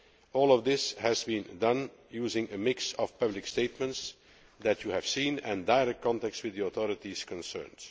All of this has been done using a mix of public statements, which you have seen, and direct contacts with the authorities concerned.